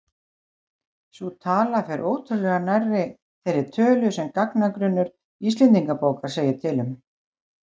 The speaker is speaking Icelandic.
Sú tala fer ótrúlega nærri þeirri tölu sem gagnagrunnur Íslendingabókar segir til um.